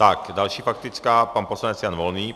Tak, další faktická - pan poslanec Jan Volný.